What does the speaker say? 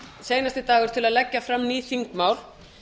seinasti dagur til að leggja fram ný þingmál